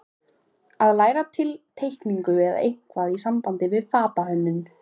Að læra teikningu eða eitthvað í sambandi við fatahönnun.